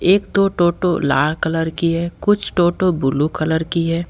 एक ठो टोटो लाल कलर की है कुछ टोटो ब्लू कलर की है।